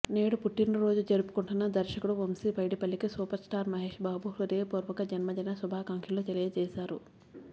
నేడు పుట్టిన రోజు జరుపుకుంటున్న దర్శకుడు వంశీ పైడిపల్లికి సూపర్ స్టార్ మహేష్ బాబు హృదయపూర్వక జన్మదిన శుభాకాంక్షలు తెలియచేసారు